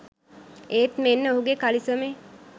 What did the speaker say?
ඒත් මෙන්න ඔහුගෙ කලිසමේ